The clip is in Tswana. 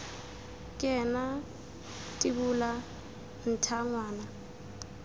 ke ena tibola ntha ngwana